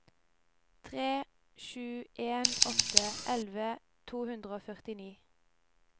tre sju en åtte elleve to hundre og førtini